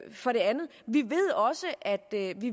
for det andet